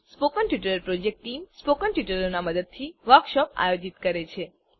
spoken tutorial project team spoken ટ્યુટોરીયલોનાં મદદથી વર્કશોપોનું આયોજન કરે છે